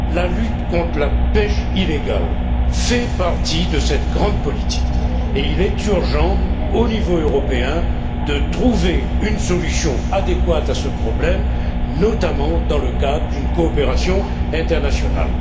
La lutte contre la pêche illégale fait partie de cette grande politique et il est urgent, au niveau européen, de trouver une solution adéquate à ce problème, notamment dans le cadre d'une coopération internationale.